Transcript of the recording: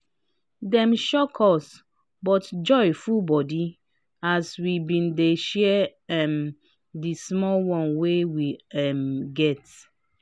dem shock us but joy full body as we been dey share um di small one wey we um get